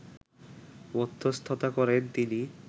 মধ্যস্থতা করেন তিনি